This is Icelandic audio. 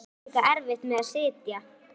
Hún átti líka erfitt með að sitja.